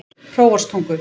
Hróarstungu